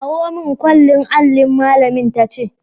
Kawo mun kwallin allin', malamin ta ce.